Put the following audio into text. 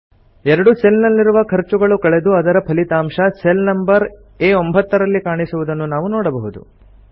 ಎರಡು ಸೆಲ್ ನಲ್ಲಿರುವ ಖರ್ಚುಗಳು ಕಳೆದು ಅದರ ಫಲಿತಾಂಶ ಸೆಲ್ ನಂಬರ್ ಆ9 ರಲ್ಲಿ ಕಾಣಿಸುವುದನ್ನು ನಾವು ನೋಡಬಹುದು